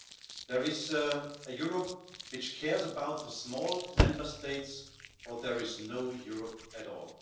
If there is no Europe which cares about the small Member States, there is no Europe at all.